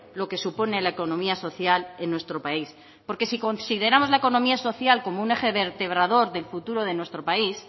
lo que supone la economía social en nuestro país porque si consideramos la economía social como un eje vertebrador del futuro de nuestro país